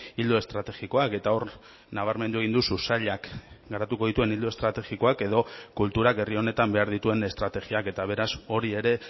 ildo estrategikoak eta hor nabarmendu egin duzu sailak garatuko dituen ildo estrategikoak edo kulturak herri honetan behar dituen estrategiak eta beraz hori ere